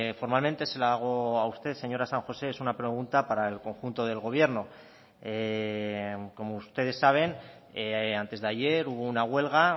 formalmente se la hago a usted señora san josé es una pregunta para el conjunto del gobierno como ustedes saben antes de ayer hubo una huelga